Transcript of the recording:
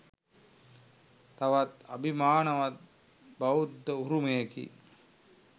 තවත් අභිමානවත් බෞද්ධ උරුමයකි.